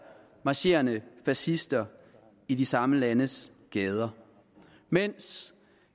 marcherende fascister i de samme landes gader mens